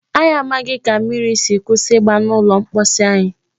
Anyị amaghị ka mmiri si kwụsị igba n'ụlọ mposi anyị.